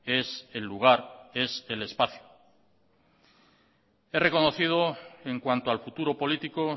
es el lugar es el espacio he reconocido en cuanto al futuro político